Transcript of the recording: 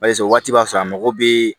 waati b'a sɔrɔ a mago bɛ